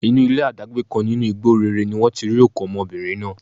Inú ilé adágbé kan nínú igbó réré ni wọ́n ti rí òkú ọmọbìnrin náà